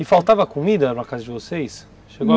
E faltava comida na casa de vocês?